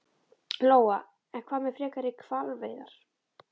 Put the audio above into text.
Lóa: En hvað með frekari hvalveiðar?